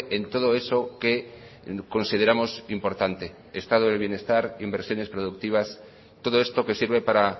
en todo eso que consideramos importante estado del bienestar inversiones productivas todo esto que sirve para